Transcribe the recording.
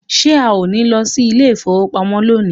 Are we not goint to the bank today